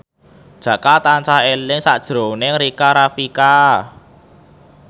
Jaka tansah eling sakjroning Rika Rafika